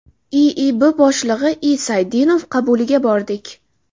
IIB boshlig‘i I.Saydinov qabuliga bordik.